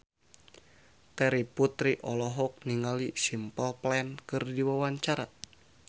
Terry Putri olohok ningali Simple Plan keur diwawancara